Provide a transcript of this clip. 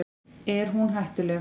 Er hún hættuleg?